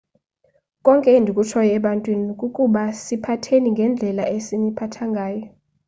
konke endikutshoyo ebantwini kukuba siphatheni ngendlela esiniphatha ngayo